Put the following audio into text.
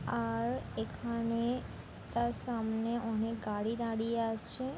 আর-- এখানে তার সামনে-- অনেক গাড়ি দাঁড়িয়ে আছে।